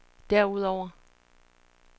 derudover